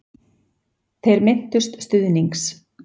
Þeir minntust stuðnings